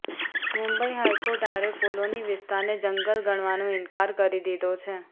મુંબઈ હાઈકોર્ટે આરે કોલોની વિસ્તારને જંગલ ગણવાનો ઈનકાર કરી દીધો છે